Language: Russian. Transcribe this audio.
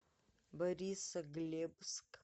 борисоглебск